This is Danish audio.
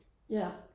Ja